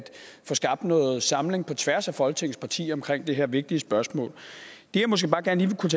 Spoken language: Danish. få skabt noget samling på tværs af folketingets partier omkring det her vigtige spørgsmål det jeg måske bare gerne kunne